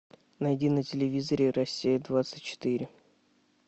найди на телевизоре россия двадцать четыре